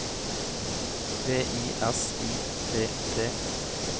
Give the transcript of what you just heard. V I S I T T